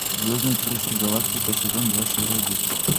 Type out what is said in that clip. звездный крейсер галактика сезон два серия десять